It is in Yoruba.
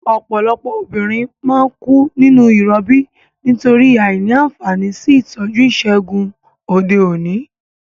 Òpòlopò obìnrin má n kú nínú ìrobí nítorí àìní ànfàní sí ìtójú ìsègùn òde òní